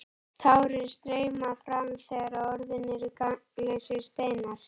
Tárin streyma fram þegar orðin eru gagnslausir steinar.